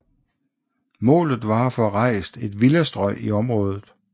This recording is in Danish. Målet var at få rejst et villastrøg i området